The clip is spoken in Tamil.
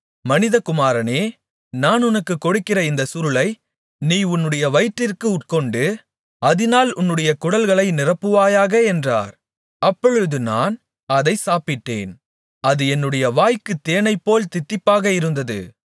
மனிதகுமாரனே நான் உனக்குக் கொடுக்கிற இந்தச் சுருளை நீ உன்னுடைய வயிற்றிற்கு உட்கொண்டு அதினால் உன்னுடைய குடல்களை நிரப்புவாயாக என்றார் அப்பொழுது நான் அதை சாப்பிட்டேன் அது என்னுடைய வாய்க்குத் தேனைப்போல் தித்திப்பாக இருந்தது